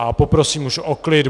A poprosím už o klid.